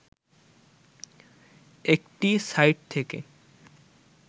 একটি সাইট থেকে